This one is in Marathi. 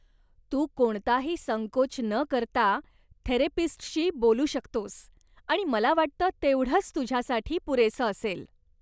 तू कोणताही संकोच न करता थेरपिस्टशी बोलू शकतोस आणि मला वाटतं तेवढंच तुझ्यासाठी पुरेसं असेल.